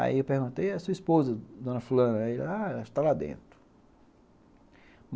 Aí eu perguntei a sua esposa, dona fulana, e ele ah ela está lá dentro.